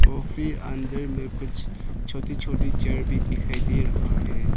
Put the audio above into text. काफी अंदर में कुछ छोटी छोटी चेयर भी दिखाई दे रहा है।